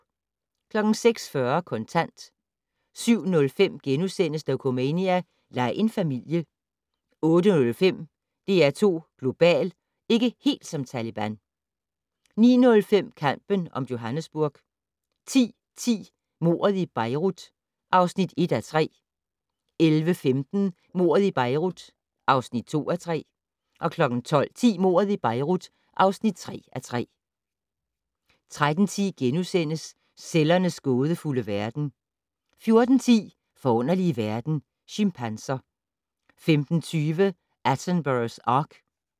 06:40: Kontant 07:05: Dokumania: Lej en familie A/S * 08:05: DR2 Global: Ikke helt som Taleban 09:05: Kampen om Johannesburg 10:10: Mordet i Beirut (1:3) 11:15: Mordet i Beirut (2:3) 12:10: Mordet i Beirut (3:3) 13:10: Cellernes gådefulde verden * 14:10: Forunderlige verden - Chimpanser 15:20: Attenboroughs ark